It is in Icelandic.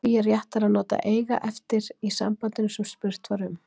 Því er réttara að nota eiga eftir í sambandinu sem spurt var um.